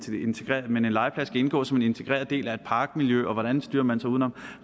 legeplads skal indgå som en integreret del af et parkmiljø og hvordan styrer man så uden om